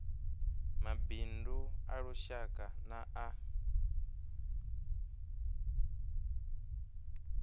mabindu a lushaka na a